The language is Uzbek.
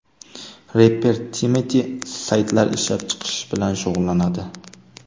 Reper Timati saytlar ishlab chiqish bilan shug‘ullanadi.